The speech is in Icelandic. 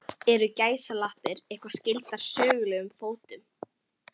Eru gæsalappir eitthvað skyldar sögulegum fótum?